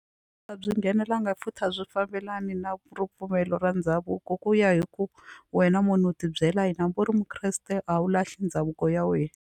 A byi nghenelelanga futhi a byi fambelani na ripfumelo ra ndhavuko ku ya hi ku wena munhu u tibyela hi hambi u ri mukreste a wu lahli ndhavuko ya wena.